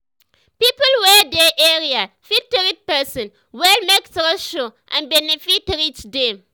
people wey dey area fit treat person well make trust show and benefit reach dem.